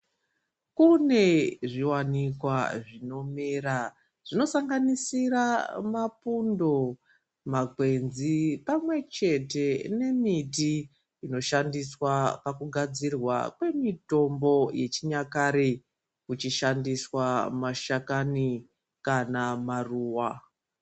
Kune zviwanikwa zvinomera zvinosanganisira mapundo makwenzi pamwechete nemiti inoshandiswa pakugadzirwa kwemutombo yechinyakare kuchishandiswa mashakani kana maruwa.